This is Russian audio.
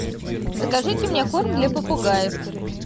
закажите мне корм для попугаев